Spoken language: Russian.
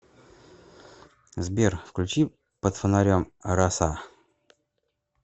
сбер включи под фонарем раса